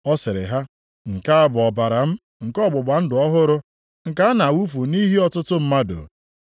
Ọ sịrị ha, “Nke a bụ ọbara m nke ọgbụgba ndụ ọhụrụ, nke a na-awụfu nʼihi ọtụtụ mmadụ.